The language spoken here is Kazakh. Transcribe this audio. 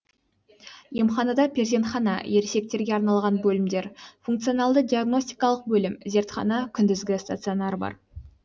емханада перзентхана ересектерге арналған бөлімдер функционалды диагностикалық бөлім зертхана күндізгі стационар бар